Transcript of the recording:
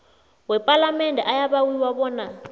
wepalamende ayabawiwa bona